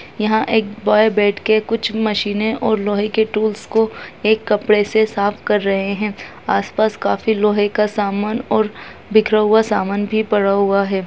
यहाँ एक बॉय बैठ के कुछ मशीने और लोहे के टूल्स को एक कपड़े से साफ कर रहे हैं आसपास काफी लोहे का समान और बिखरा हुआ सामान भी पड़ा हुआ है।